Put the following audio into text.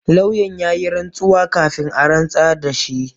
Lauyan ya yi rantsuwa kafin a rantsar da shi.